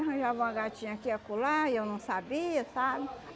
Arranjava uma gatinha aqui e acolá, e eu não sabia, sabe?